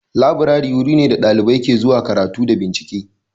Laburare wuri ne da ɗalibai ke zuwa karatu da bincike